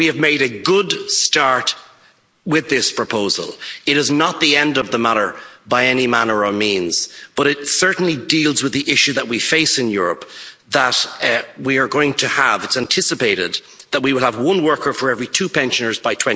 We have made a good start with this proposal. It is not the end of the matter by any manner or means, but it certainly deals with the issue that we face in Europe, that we are going to have. It is anticipated that we will have one worker for every two pensioners